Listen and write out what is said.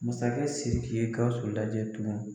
Masakɛ SIRIKI ye GAWUSU lajɛ tugun.